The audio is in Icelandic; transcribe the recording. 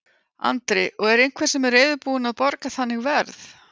Andri: Og er einhver sem er reiðubúin að borga þannig verð?